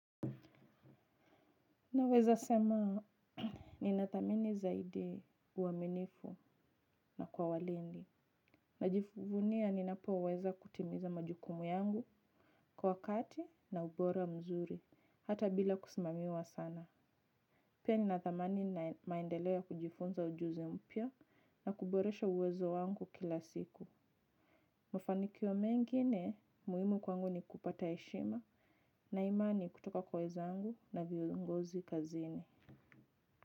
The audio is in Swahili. Naweza sema, ninathamini zaidi uaminifu na kwa walindi. Najivunia ninapoaweza kutimiza majukumu yangu kwa wakati na ubora mzuri, hata bila kusimamiwa sana. Pia ninathamini maendeleo ya kujifunza ujuzi mpya na kuboresha uwezo wangu kila siku. Mafanikio mengine muhimu kwangu ni kupata heshima na imani kutoka kwa wezangu na viongozi kazini.